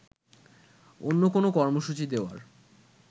অন্য কোনো কর্মসূচি দেওয়ার